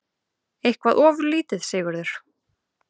Eitthvað ofurlítið, Sigurður?